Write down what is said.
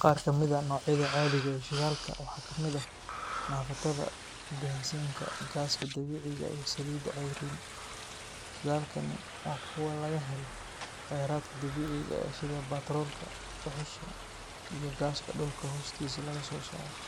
Qaar kamid ah noocyada caadiga ah ee shidaalka waxaa ka mid ah naaftada, bensiinka, gaaska dabiiciga ah, iyo saliidaha cayriin. Shidaalkani waa kuwa laga helo kheyraadka dabiiciga ah sida batroolka, dhuxusha iyo gaaska dhulka hoostiisa laga soo saaro.